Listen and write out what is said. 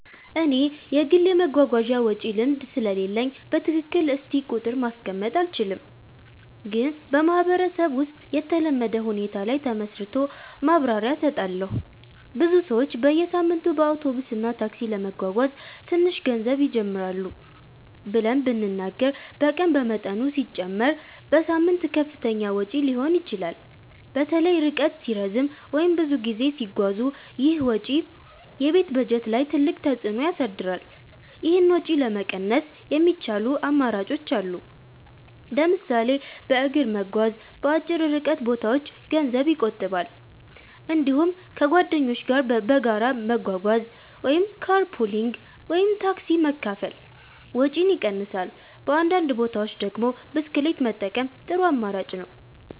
እኔ የግል የመጓጓዣ ወጪ ልምድ ስለሌለኝ በትክክል እስቲ ቁጥር ማስቀመጥ አልችልም፣ ግን በማህበረሰብ ውስጥ የተለመደ ሁኔታ ላይ ተመስርቶ ማብራሪያ እሰጣለሁ። ብዙ ሰዎች በየሳምንቱ በአውቶቡስ እና ታክሲ ለመጓጓዝ ትንሽ ገንዘብ ይጀምራሉ ብለን ብንናገር በቀን በመጠኑ ሲጨመር በሳምንት ከፍተኛ ወጪ ሊሆን ይችላል። በተለይ ርቀት ሲረዝም ወይም ብዙ ጊዜ ሲጓዙ ይህ ወጪ የቤት በጀት ላይ ትልቅ ተፅዕኖ ያሳድራል። ይህን ወጪ ለመቀነስ የሚቻሉ አማራጮች አሉ። ለምሳሌ በእግር መጓዝ በአጭር ርቀት ቦታዎች ገንዘብ ይቆጥባል። እንዲሁም ከጓደኞች ጋር በጋራ መጓጓዝ (car pooling ወይም ታክሲ መካፈል) ወጪን ይቀንሳል። በአንዳንድ ቦታዎች ደግሞ ብስክሌት መጠቀም ጥሩ አማራጭ ነው።